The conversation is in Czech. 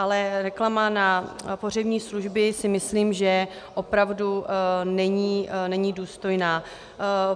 Ale reklama na pohřební služby, si myslím, že opravdu není důstojná.